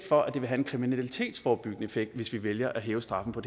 for at det vil have en kriminalitetsforebyggende effekt hvis vi vælger at hæve straffen på